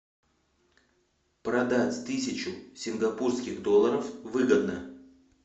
продать тысячу сингапурских долларов выгодно